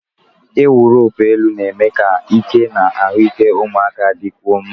Ịwụ roopu elu na-eme ka ike na ahụike ụmụaka dịkwuo mma.